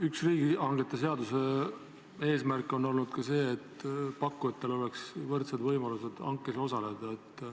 Üks riigihangete seaduse eesmärk on olnud ka see, et pakkujatel oleks võrdsed võimalused hankes osaleda.